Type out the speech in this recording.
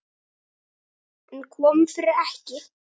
En kom fyrir ekki.